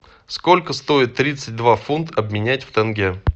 сколько стоит тридцать два фунта обменять в тенге